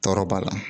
Tɔɔrɔ b'a la